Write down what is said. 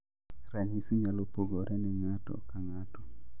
Ranyisi nyalo pogore ne ng'ato ka ng'ato